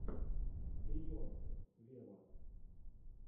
бейонсе вево